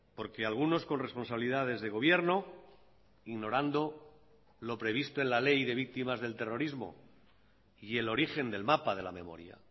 porque algunos con responsabilidades de gobierno ignorando lo previsto en la ley de víctimas del terrorismo y el origen del mapa de la memoria